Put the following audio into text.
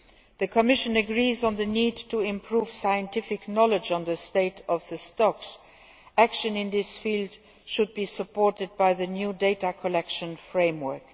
The Commission agrees on the need to improve scientific knowledge on the state of stocks. Action in this field should be supported by the new data collection framework.